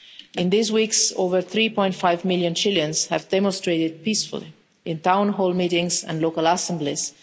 During these weeks, over 3.5 million Chileans have demonstrated peacefully in town hall meetings and local assemblies.